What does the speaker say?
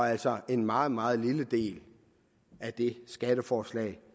altså en meget meget lille del af det skatteforslag